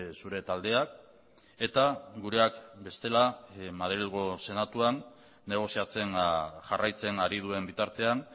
zure taldeak eta gureak bestela madrilgo senatuan negoziatzen jarraitzen ari duen bitartean